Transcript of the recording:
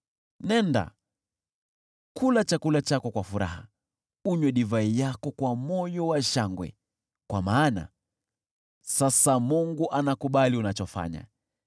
Nenda, kula chakula chako kwa furaha, unywe divai yako kwa moyo wa shangwe, kwa maana sasa Mungu anakubali unachofanya.